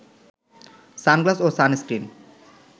sunglass ও sunscreen